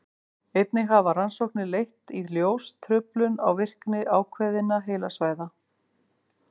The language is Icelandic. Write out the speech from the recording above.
einnig hafa rannsóknir leitt í ljós truflun á virkni ákveðinna heilasvæða